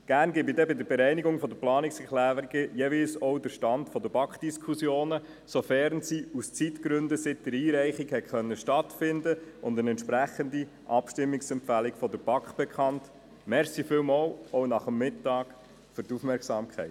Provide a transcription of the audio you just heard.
Gerne gebe ich dann bei der Bereinigung der Planungserklärungen jeweils auch den Stand der Diskussionen in der BaK und deren entsprechende Abstimmungsempfehlung bekannt, sofern sie aus Zeitgründen seit der Einreichung stattfinden konnten.